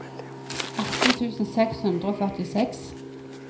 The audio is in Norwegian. atten tusen seks hundre og førtiseks